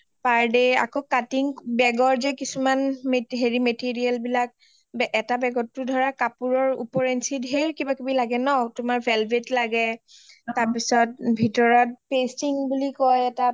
per day আকৌ cutting bag ৰ যে কিছুমান হেৰি material বিলাক এটা bag টো ধৰা কাপোৰৰ উপৰ ইঞ্চ ঢেৰ কিবা কিবি লাগে ন তোমাৰ velvet লাগে তাৰ পিছত ভিতৰত pasting বুলি কই এটা